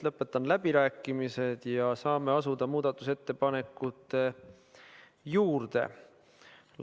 Lõpetan läbirääkimised ja saame asuda muudatusettepanekute juurde.